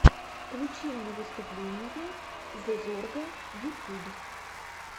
включи мне выступление зэ зорга ютюб